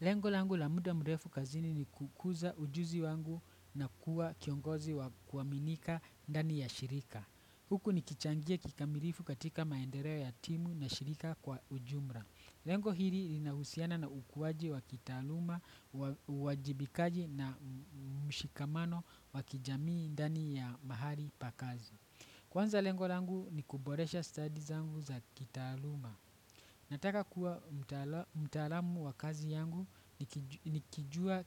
Lengo langu la muda mrefu kazini ni kukuza ujuzi wangu na kuwa kiongozi wa kuaminika ndani ya shirika. Huku nikichangia kikamirifu katika maendereo ya timu na shirika kwa ujumra. Lengo hiri linahusiana na ukuwaji wa kitaaluma wa uwajibikaji na mshikamano wa kijamii ndani ya mahali pa kazi. Kwanza lengo langu ni kuboresha study zangu za kitaaluma. Nataka kuwa mtaalamu wa kazi yangu nikijua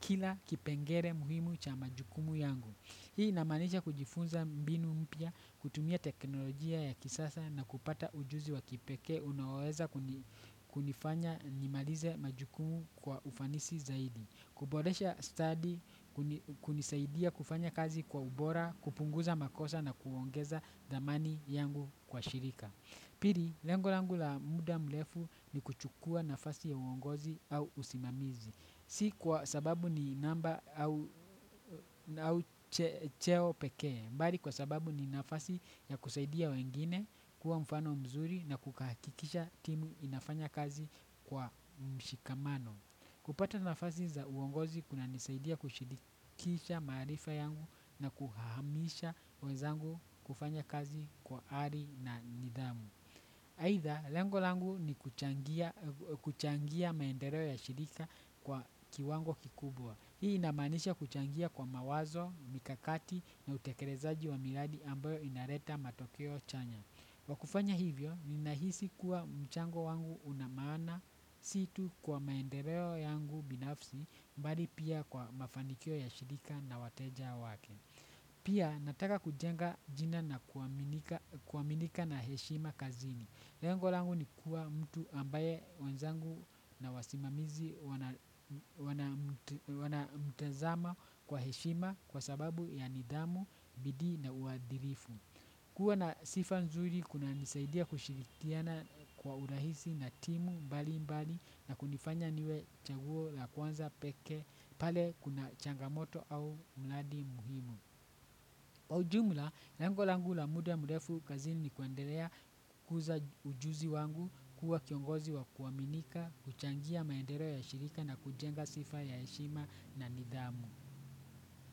kila kipengere muhimu cha majukumu yangu. Hii inamaanisha kujifunza mbinu mpya, kutumia teknolojia ya kisasa na kupata ujuzi wa kipekee unaoweza kunifanya nimalize majukumu kwa ufanisi zaidi. Kuboresha study, kunisaidia kufanya kazi kwa ubora, kupunguza makosa na kuongeza thamani yangu kwa shirika. Piri, lengo langu la muda mlefu ni kuchukua nafasi ya uongozi au usimamizi. Si kwa sababu ni namba au cheo pekee, bali kwa sababu ni nafasi ya kusaidia wengine kwa mfano mzuri na kukahakikisha timu inafanya kazi kwa mshikamano. Kupata nafasi za uongozi kunanisaidia kushirikisha maarifa yangu na kuhamisha wenzangu kufanya kazi kwa ari na nidhamu aidha, lengo langu ni kuchangia maendereo ya shirika kwa kiwango kikubwa. Hii inamaanisha kuchangia kwa mawazo, mikakati, na utekerezaji wa miradi ambayo inareta matokeo chanya. Kwa kufanya hivyo, ninahisi kuwa mchango wangu una maana si tu kwa maendereo yangu binafsi bali pia kwa mafanikio ya shirika na wateja wake. Pia nataka kujenga jina na kuaminika na heshima kazini. Lengo langu ni kuwa mtu ambaye wenzangu na wasimamizi wanamtezama kwa heshima kwa sababu ya nidhamu, bidii na uadhirifu. Kuwa na sifa nzuri kunanisaidia kushirikiana kwa urahisi na timu mbali mbali na kunifanya niwe chaguo la kwanza pekee pale kuna changamoto au mradi muhimu kwa ujumla lengo langu la muda mrefu kazini ni kuendelea kukuza ujuzi wangu kuwa kiongozi wa kuaminika kuchangia maendeleo ya shirika na kujenga sifa ya heshima na nidhamu.